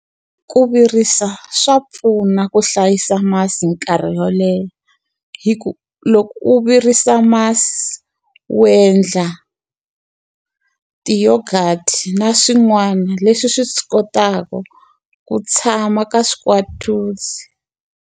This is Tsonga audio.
Ku virisa swa pfuna ku hlayisa masi nkarhi wo leha. Hikuva loko u virisa masi, u endla ti-yoghurt-i na swin'wana leswi swi swi kotaka ku tshama ka .